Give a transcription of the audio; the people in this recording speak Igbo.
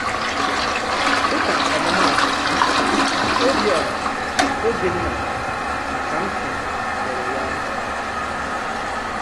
Dị̀ka ọmụ́maatụ, Obiora, Obinna, na Kamsi mere ya.